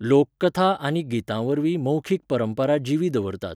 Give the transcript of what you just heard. लोककथा आनी गितांवरवीं मौखिक परंपरा जिवी दवरतात.